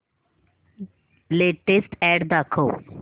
latest ad दाखव